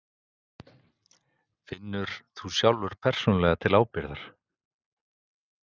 Elín Margrét Böðvarsdóttir: Finnur þú sjálfur persónulega til ábyrgðar?